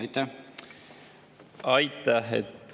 Aitäh!